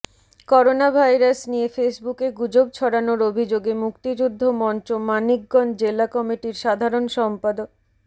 coronavirus নিয়ে ফেসবুকে গুজব ছড়ানোর অভিযোগে মুক্তিযুদ্ধ মঞ্চ মানিকগঞ্জ জেলা কমিটির সাধারণ সম্পাদ